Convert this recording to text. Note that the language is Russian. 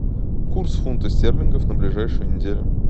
курс фунта стерлингов на ближайшую неделю